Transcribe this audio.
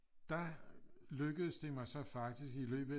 Der lykkedes det mig så faktisk i løbet af